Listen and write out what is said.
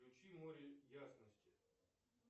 включи море ясности